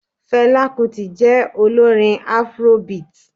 Fẹlá kutì jẹ́ olórin Afrobeat.